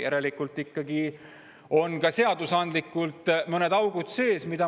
Järelikult on ikkagi ka seadusandlikult mõned augud sees.